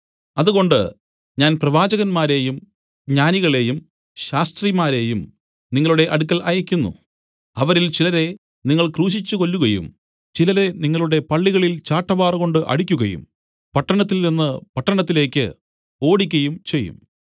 അതുകൊണ്ട് ഞാൻ പ്രവാചകന്മാരെയും ജ്ഞാനികളെയും ശാസ്ത്രിമാരെയും നിങ്ങളുടെ അടുക്കൽ അയയ്ക്കുന്നു അവരിൽ ചിലരെ നിങ്ങൾ ക്രൂശിച്ചു കൊല്ലുകയും ചിലരെ നിങ്ങളുടെ പള്ളികളിൽ ചാട്ടവാറു കൊണ്ട് അടിക്കുകയും പട്ടണത്തിൽനിന്നു പട്ടണത്തിലേക്ക് ഓടിക്കയും ചെയ്യും